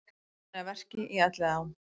Staðnir að verki í Elliðaám